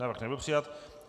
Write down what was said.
Návrh nebyl přijat.